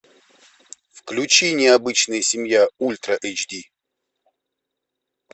включи необычная семья ультра эйч ди